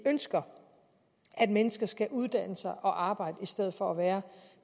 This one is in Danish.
ønsker at mennesker skal uddanne sig og arbejde i stedet for at være